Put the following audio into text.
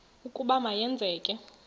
ukuba ma yenzeke